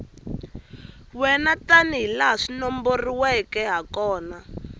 wena tanihilaha swi nomboriweke hakona